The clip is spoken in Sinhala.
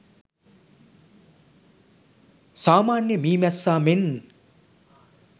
සාමාන්‍ය මී මැස්සා මෙන්